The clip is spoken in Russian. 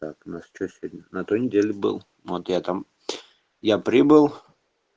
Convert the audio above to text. так у нас что сегодня на той неделе был вот я там я прибыл